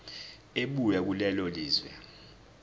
ebuya kulelo lizwe